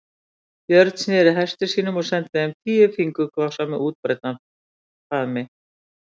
Björn sneri hesti sínum og sendi þeim tíu fingurkossa með útbreiddum faðmi.